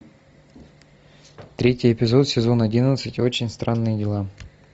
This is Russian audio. третий эпизод сезон одиннадцать очень странные дела